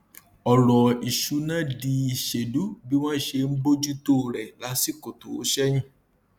ọrọ ìṣúnná di ìṣèlú bí wọn ṣe ń bójú tó rẹ lásìkò tó ṣẹyìn